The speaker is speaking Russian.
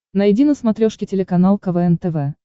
найди на смотрешке телеканал квн тв